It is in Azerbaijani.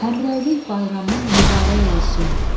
Həmrəylik bayramın mübarək olsun.